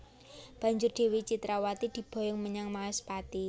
Banjur Dewi Citrawati diboyong menyang Maespati